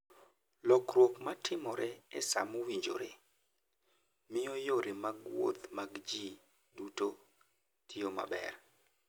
Lokruok ma timore e sa mowinjore, miyo yore mag wuoth mag ji duto tiyo maber.